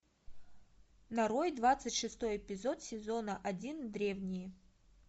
нарой двадцать шестой эпизод сезона один древние